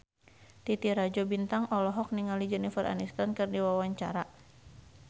Titi Rajo Bintang olohok ningali Jennifer Aniston keur diwawancara